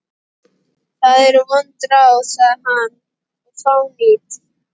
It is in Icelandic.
Það eru vond ráð, sagði hann,-og fánýt.